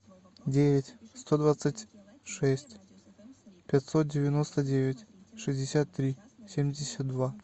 девять сто двадцать шесть пятьсот девяносто девять шестьдесят три семьдесят два